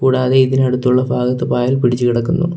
കൂടാതെ ഇതിനടുത്തുള്ള ഭാഗത്ത് പായൽ പിടിച്ച് കിടക്കുന്നു.